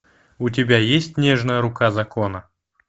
у тебя есть нежная рука закона